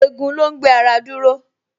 Egun ló ń gbé ara dúró